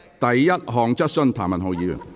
第一項質詢。